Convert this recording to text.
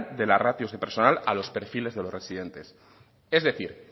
de la ratios de personal a los perfiles de los residentes es decir